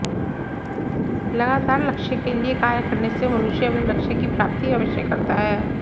लगातार लक्ष्य के लिए कार्य करने से मनुष्य अपने लक्ष्य की प्राप्ति अवश्य करता है